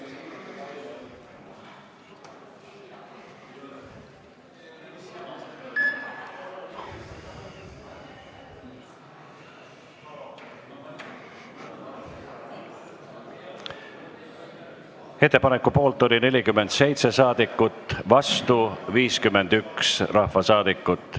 Hääletustulemused Ettepaneku poolt oli 47 ja vastu 51 rahvasaadikut.